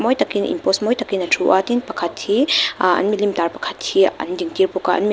mawi takin in pose mawi takin a thu a tin pakhat hi aaa an milim tar pakhat hi an ding tir bawk a.